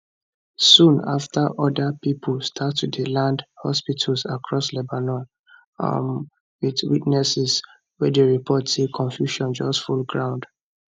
soon after oda pipo start to dey land hospitals across lebanon um with witnesses wey dey report say confusion just full ground